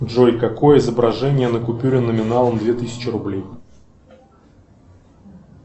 джой какое изображение на купюре номиналом две тысячи рублей